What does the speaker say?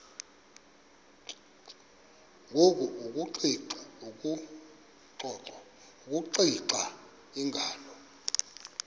ngoku akuxiva iingalo